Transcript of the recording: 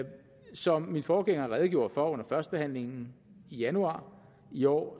som min forgænger redegjorde for under førstebehandlingen i januar i år